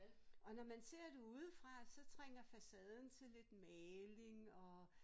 Og når man ser det udefra så trænger facaden til lidt maling og